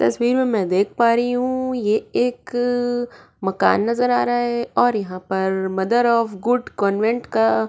तस्वीर मैं देख पा रही हूँ ये एक मकान नजर आ रहा है और यहाँ पर मदर ऑफ़ गुड कान्वेंट का --